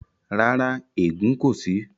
Rárá, ẹ̀gùn kò sí.